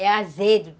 É azedo.